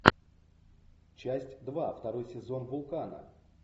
часть два второй сезон вулкана